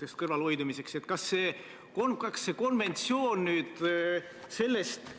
Teise põhjendusena tõite välja kolmanda isiku ütluse selle kohta,